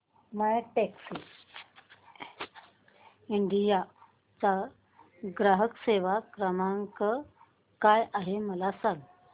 My Taxi India चा ग्राहक सेवा क्रमांक काय आहे मला सांग